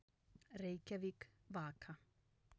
Reykjavík, Vaka.